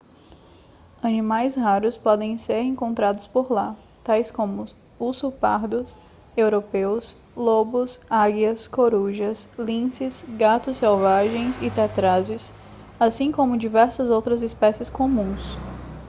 animais raros podem ser e encontrados por lá tais como ursos pardos europeus lobos águias corujas linces gatos selvagens e tetrazes assim como diversas outras espécies comuns